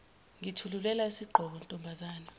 ngikuthulela isigqoko ntombazane